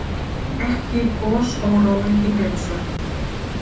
Hrinan ekki gosórói í Grímsvötnum